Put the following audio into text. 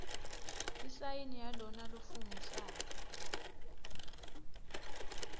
isayini yalona lofungisako